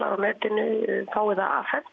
á netinu fái það afhent